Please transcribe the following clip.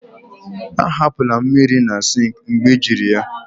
ahapụla mmiri na sink mgbe ejiri ya